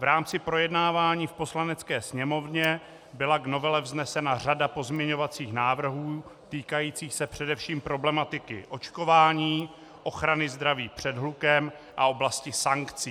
V rámci projednávání v Poslanecké sněmovně byla k novele vznesena řada pozměňovacích návrhů týkajících se především problematiky očkování, ochrany zdraví před hlukem a oblasti sankcí.